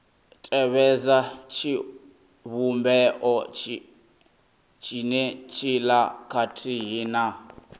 tevhedza tshivhumbeo tshenetshiḽa khathihi na